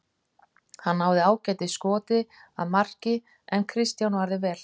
Hann náði ágætis skoti að marki en Kristján varði vel.